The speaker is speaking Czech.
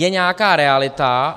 Je nějaká realita.